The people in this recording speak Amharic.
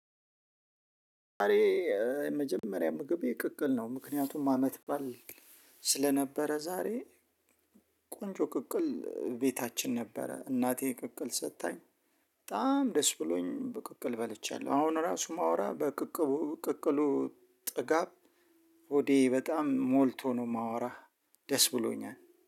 ዛሬ የመጀመሪያ ምግቤ ቅቅል ነው። ምክንያቱም አመት ባል ስለነበረ። ዛሬ ቆንጆ ቅቅል ቤታችን ነበረ። እናቴ ቅቅል ሰጥታኝ በጣም ደስ ብሎኝ ብቅቅል በልቻለሁ። አሁን ራሱ ማውራ በቅቅቡ ቅቅሉ ጥጋብ በጣም ሞልቶ ነው። የማወራ ደስ ብሎኛል